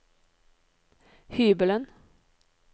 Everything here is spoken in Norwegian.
hybelen